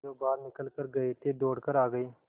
जो बाहर निकल गये थे दौड़ कर आ गये